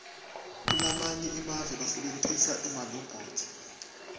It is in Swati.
kulamanye emave basebentisa emalobhothi